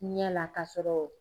i ɲa ka sɔrɔ